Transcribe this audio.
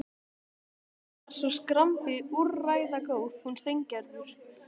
Hún er svo skrambi úrræðagóð, hún Steingerður.